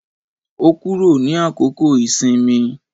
Ó kúrò ní àkókò ìsinmi.